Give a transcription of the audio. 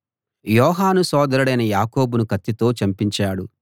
యోహాను సోదరుడైన యాకోబును కత్తితో చంపించాడు